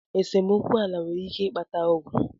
Esemokwu ala nwere ike ịkpata Ọgụ.